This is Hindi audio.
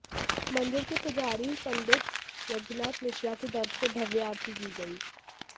मंदिर के पुजारी पंडित यज्ञनाथ मिश्रा की तरफ से भव्य आरती की गई